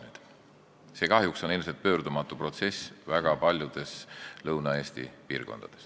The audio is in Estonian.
See on kahjuks pöördumatu protsess väga paljudes Lõuna-Eesti piirkondades.